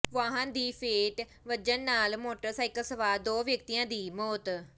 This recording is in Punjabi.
ਵਾਹਨ ਦੀ ਫੇਟ ਵੱਜਣ ਨਾਲ ਮੋਟਰਸਾਈਕਲ ਸਵਾਰ ਦੋ ਵਿਅਕਤੀਆਂ ਦੀ ਮੌਤ